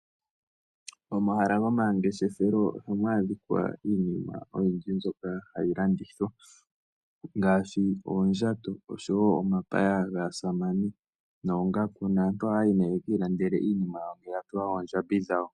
Omahala gomangeshefelo ohamu adhika iinima oyindji tayi landithwq ngaashi oondjato, omapaya gaasamane oongaku niikwawo yilwe. Aantu ohaya yi yekeilandele iinima yawo uuna yamona oondjambi dhawo.